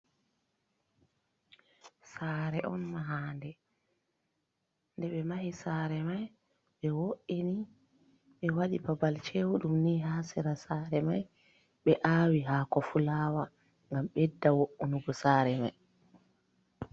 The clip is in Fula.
Sare on mahande, nde ɓe mahi sare mai ɓe wo’ini ɓe waɗi babal cew dum ni ha sera sare mai, ɓe aawi hako fulawa ngam bedda wo’’unugo sare mai.